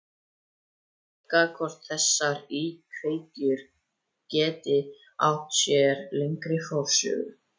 leika hvort þessar íkveikjur geti átt sér lengri forsögu.